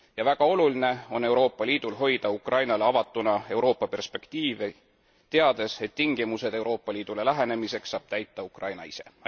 Väga oluline on Euroopa Liidul hoida Ukrainale avatuna Euroopa perspektiivi, teades, et tingimused Euroopa Liidule lähenemiseks saab täita Ukraina ise.